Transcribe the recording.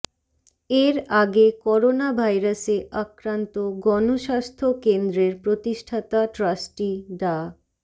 এর আগে করোনা ভাইরাসে আক্রান্ত গণস্বাস্থ্য কেন্দ্রের প্রতিষ্ঠাতা ট্রাস্টি ডা